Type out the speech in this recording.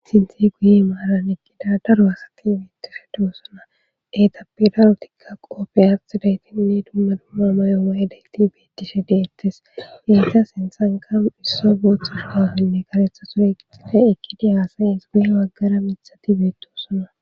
Sinthe guye maaran eqqida daro hasaki beettishe duwosona etapidarotikka qoppe asidaytinne dumma dumma mayo ma'idayti beettishe de'ettes geyta sinthanka isso boothus gafanne karetha surexle ekkidi haasayins guye waggara mithati beetiosona